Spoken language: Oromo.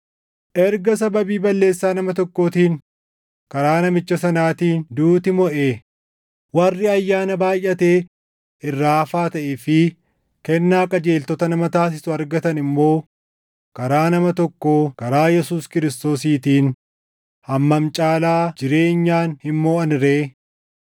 Erga sababii balleessaa nama tokkootiin karaa namicha sanaatiin duuti moʼee, warri ayyaana baayʼatee irraa hafaa taʼee fi kennaa qajeeltota nama taasisu argatan immoo karaa nama tokkoo karaa Yesuus Kiristoosiitiin hammam caalaa jireenyaan hin moʼan ree!